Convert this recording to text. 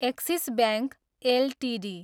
axis bank Ltd